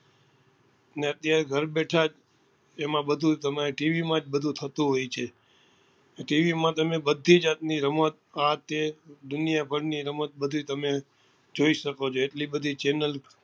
ને અત્યારે ઘર બેઠા જ એમાં બધું તમે tv માં જ બધું થતું હોય છે TV માં તમે બધી જાત ની રમત આ તે દુનિયા ભર ની રમત તમે બધી જોઈ શકો છો એટલી બધી channel